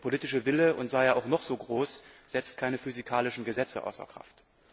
Der politische Wille, und sei er auch noch so groß, setzt keine physikalischen Gesetze außer Kraft.